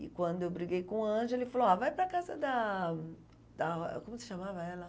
E quando eu briguei com o Ângelo, ele falou, a vai para a casa da da... Como se chamava ela?